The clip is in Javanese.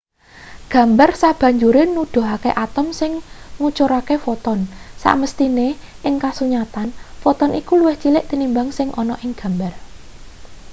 gambar sabanjure nuduhake atom sing ngucurake foton samesthine ing kasunyatan foton iku luwih cilik tinimbang sing ana ing gambar